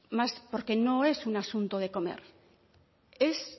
porque no es un asunto de comer es